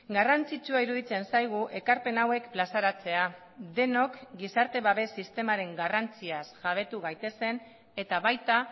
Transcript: garrantzitsua iruditzen zaigu ekarpen hauek plazaratzea denok gizarte babes sistemaren garrantziaz jabetu gaitezen eta baita